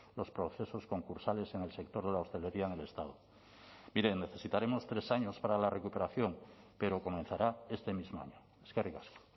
los procesos concursales en el sector de la hostelería en el estado mire necesitaremos tres años para la recuperación pero comenzará este mismo año eskerrik asko